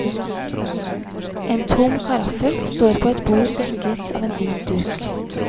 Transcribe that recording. En tom karaffel står på et bord dekket av en hvit duk.